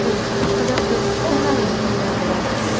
loyiha haqida o‘z fikrlarini bildirdilar.